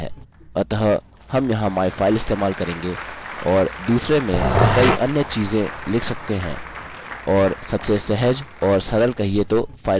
अतः हम यहाँ myfile इस्तेमाल करेंगे और दुसरे में कई अन्य चीज़े लिख सकते हैं और सबसे सहज और सरल कहिये तो फाइल का नाम है